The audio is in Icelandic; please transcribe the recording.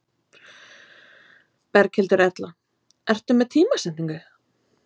Berghildur Erla: Ertu með tímasetningu?